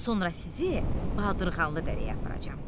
Sonra sizi Baldırğanlı dərəyə aparacam.